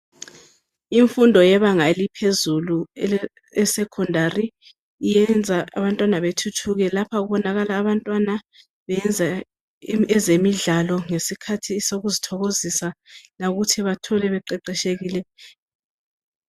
Imfundo eyebanga eliphezulu esecondary iyenza abantwana bethuthuke. Lapha kubonakala abantwana beyenza ezemidlalo ngesikhathi sokuzi thokoziza.